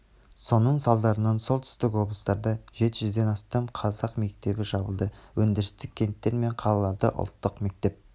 соның салдарынан солтүстік облыстарда жет жүзден астам қазақ мектебі жабылды өндірістік кенттер мен қалаларда ұлттық мектеп